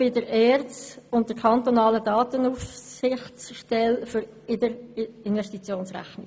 Bei der kantonalen Datenaufsichtsstelle sowie zusätzlich noch bei der ERZ geht es um solche in der Investitionsrech nung.